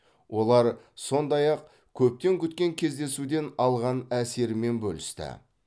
олар сондай ақ көптен күткен кездесуден алған әсерімен бөлісті